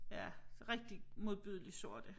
Ja rigtig modbydeligt sorte